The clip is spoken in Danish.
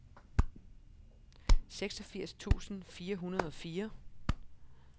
seksogfirs tusind fire hundrede og fire